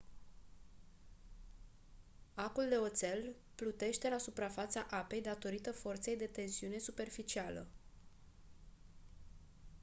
acul de oțel plutește la suprafața apei datorită forței de tensiune superficială